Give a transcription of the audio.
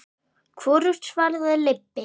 Hvorugt svaraði Leibbi.